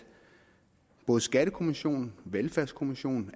både skattekommissionen og velfærdskommissionen